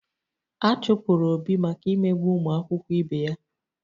A chụpụrụ Obi maka imegbu ụmụakwụkwọ ibe ya